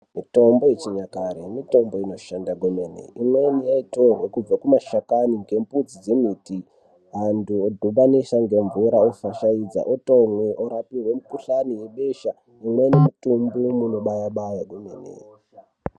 Mitombo yechinyakare mitombo inoshanda kwemene. Imweni yaitorwe kubva kumashakani ngembudzi dzemiti antu odhibanise ngemvura ofashaidze otomwe orapirwe mikuhlani webesha imweni mitombo inobaya baya kwemene.